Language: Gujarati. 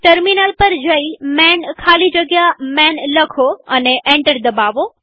ટર્મિનલ પર જઈ માન ખાલી જગ્યા માન લખો અને એન્ટર દબાવો